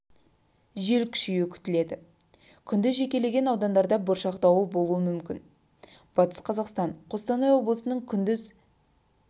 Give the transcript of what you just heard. жел күшеюі күтіледі күндіз жекелеген аудандарда бұршақ дауыл болуы мүмкін батыс қазақстан қостанай облыстарының күндіз